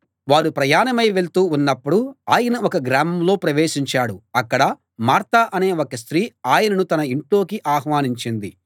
వారు ప్రయాణమై వెళ్తూ ఉన్నప్పుడు ఆయన ఒక గ్రామంలో ప్రవేశించాడు అక్కడ మార్త అనే ఒక స్త్రీ ఆయనను తన ఇంట్లోకి ఆహ్వానించింది